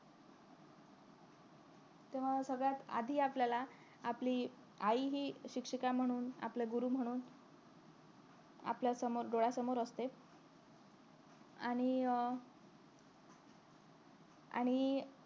तेव्हा सगळ्यात आधी आपल्याला आपली आई हि शिक्षिका म्हणून आपली गुरु म्हणून आपल्या समोर डोळ्यासमोर असते आणि अं आणि